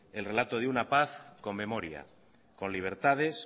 el relato de una paz con memoria con libertades